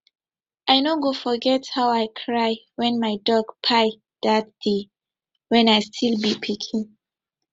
i no go forget how i cry when my dog kpai dat day when i still be pikin